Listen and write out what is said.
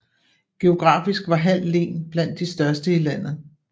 Geografisk var Hald Len blandt de største i landet